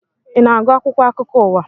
I na-agu akwụkwọ akụkọ ụwa?